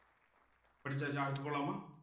படிச்சாச்சா அடுத்து போலாமா